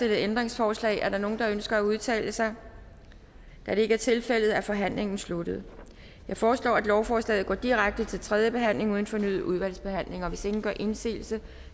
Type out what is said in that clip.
ændringsforslag er der nogen der ønsker at udtale sig da det ikke er tilfældet er forhandlingen sluttet jeg foreslår at lovforslaget går direkte til tredje behandling uden fornyet udvalgsbehandling hvis ingen gør indsigelse